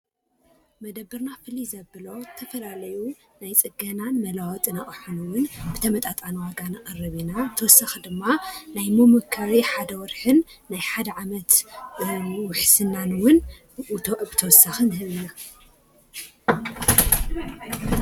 መደብርና ፍልይ ዘብሎ ተፈላለዩ ናይ ፅገናን መለዋወጥን ኣቕሓ እውን ብተመጣጣኒ ዋጋ ነቕርብ ኢና፡፡ ብተወስኺ ድማ ናይ መሞከሪ ሓደ ወርሕን ናይ ሓደ ዓመት ውሕስናን እውን ብተወሳኺ ንህብ ኢና፡፡